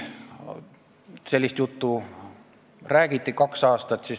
Seda juttu on räägitud kaks aastat.